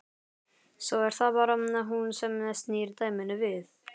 Svo er það bara hún sem snýr dæminu við.